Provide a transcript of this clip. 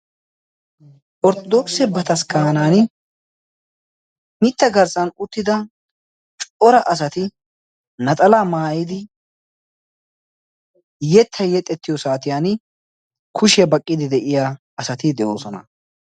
Orttodookise bataskkaanan mitta garssan uttida cora asati naxalaa maayidi yettayi yexettiyo saatiyan kushiya baqqiiddi de"iya asati de"oosona.